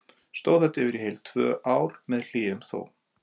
Stóð þetta yfir í heil tvö ár, með hléum þó.